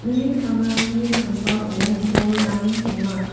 mi pangrangni sambao bolrang donga.